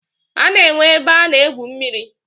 A na-enwe ebe a na-egwu mmiri.